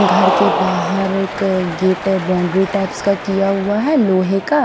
घर के बाहर एक गेट बाउंड्री टाइप्स का किया हुआ है लोहे का--